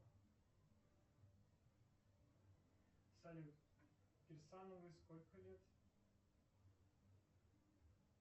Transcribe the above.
салют кирсановой сколько лет